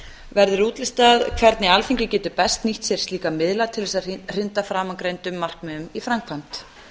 verður útlistað hvernig alþingi getur best nýtt sér slíka miðla til þess að hrinda framangreindum markmiðum í framkvæmd